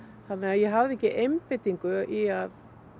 ég hafði ekki einbeitingu í að